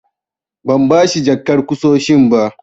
Ban bashi jakar ƙusoshin ba.